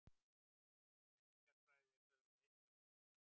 Menningarfræði eru sögð leitast við